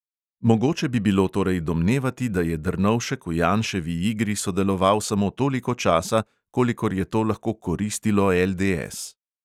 Mogoče bi bilo torej domnevati, da je drnovšek v janševi igri sodeloval samo toliko časa, kolikor je to lahko koristilo LDS.